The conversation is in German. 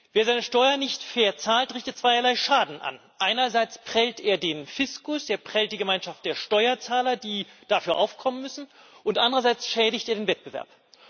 Wer seine Steuern nicht fair zahlt, richtet zweierlei Schaden an Einerseits prellt er den Fiskus, er prellt die Gemeinschaft der Steuerzahler, die dafür aufkommen müssen, und anderseits schädigt er den Wettbewerb.